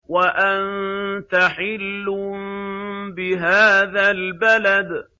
وَأَنتَ حِلٌّ بِهَٰذَا الْبَلَدِ